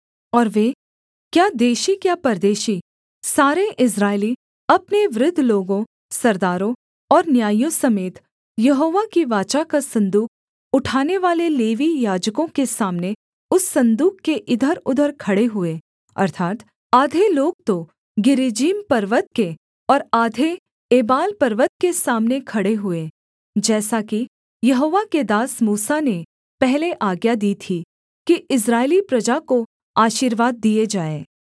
और वे क्या देशी क्या परदेशी सारे इस्राएली अपने वृद्ध लोगों सरदारों और न्यायियों समेत यहोवा की वाचा का सन्दूक उठानेवाले लेवीय याजकों के सामने उस सन्दूक के इधरउधर खड़े हुए अर्थात् आधे लोग तो गिरिज्जीम पर्वत के और आधे एबाल पर्वत के सामने खड़े हुए जैसा कि यहोवा के दास मूसा ने पहले आज्ञा दी थी कि इस्राएली प्रजा को आशीर्वाद दिए जाएँ